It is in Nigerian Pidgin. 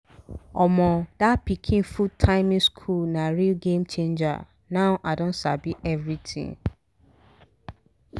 ah! the moment we enter this 'how-to-feed-pikin' matter d 'how-to-feed-pikin' matter d thing don giv me betta sense